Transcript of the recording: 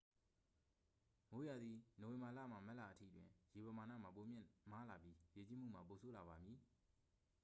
မိုးရာသီ နိုဝင်ဘာလမှ မတ်လအထိ တွင် ရေပမာဏမှာ ပိုမြင့်မားလာပြီး ရေကြီးမှုမှာ ပိုဆိုးလာပါမည်။